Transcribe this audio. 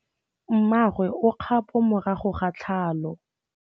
Mmagwe o kgapô morago ga tlhalô.